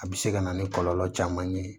A bɛ se ka na ni kɔlɔlɔ caman ye